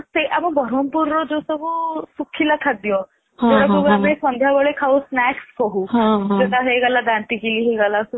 ଆମ ବରମପୁର ର ଯୋଉ ସବୁ ଶୁଖିଲା ଖାଦ୍ଯ ଯୋଉଗୁଡା ସବୁ ଆମେ ସନ୍ଧ୍ଯା ବେଳେ ଖାଉ snacks କହୁ ସେଇଟା ହେଇଗଲା ଦାନ୍ତୀକଇରୀ ହେଇଗଲା